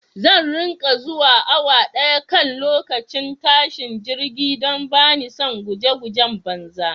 Zan riƙa zuwa awa daya kan lokacin tashin jirgi don bani son guje gujen banza